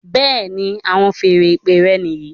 Bẹẹni, àwọn feèrè ìpè rẹ níyì